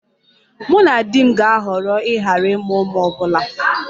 Mụ na di m ga-ahọrọ ịghara ịmụ ụmụ ọ bụla